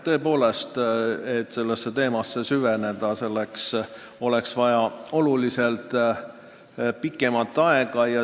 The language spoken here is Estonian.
Tõepoolest, sellesse teemasse süvenemiseks oleks vaja märksa pikemat aega.